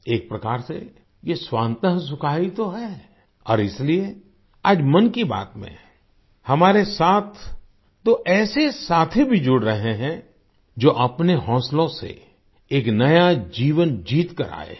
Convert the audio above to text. एक प्रकार से यह स्वान्त सुखाय ही तो है और इसलिए आज मन की बात में हमारे साथ दो ऐसे ही साथी भी जुड़ रहे हैं जो अपने हौसलों से एक नया जीवन जीतकर आए हैं